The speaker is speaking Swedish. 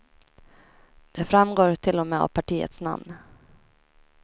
Det framgår till och med av partiets namn.